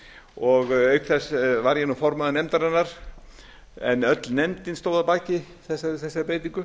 og auk þess var ég formaður nefndarinnar en öll nefndin stóð að baki þessari breytingu